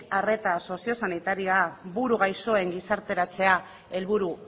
arreta sozio sanitarioa buru gaixoen gizarteratzea helburu